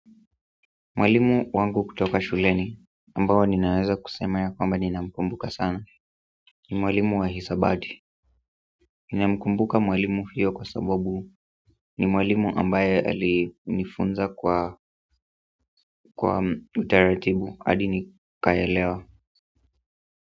Mwalimu wangu kutoka shuleni, ambao ninaweza kusema ya kwamba nina mkumbuka sana ni mwalimu wa hisabati. Ninamkumbuka mwalimu huyo kwa sababu ni mwalimu ambaye alinifunza kwa utaratibu, hadi nikaelewa.